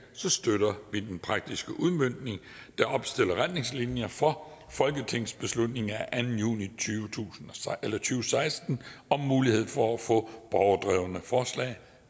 så støtter vi den praktiske udmøntning der opstiller retningslinjer for folketingsbeslutning af anden juni to tusind og seksten om mulighed for at få borgerdrevne forslag